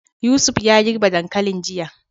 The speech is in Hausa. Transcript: Yusuf ya girbe dankalin jiya.